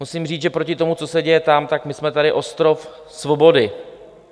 Musím říct, že proti tomu, co se děje tam, tak my jsme tady ostrov svobody.